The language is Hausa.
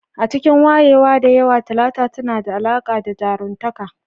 A cikin wayewa da yawa, Talata tana da alaƙa da jaruntaka